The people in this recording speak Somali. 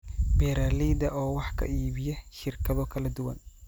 beeralayda oo wax ka iibiya shirkado kala duwan